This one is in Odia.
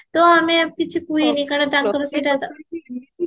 ତ ଆମେ କିଛି କୁହେନୀ କାରଣ ତାଙ୍କର ସେଇଟା କାମ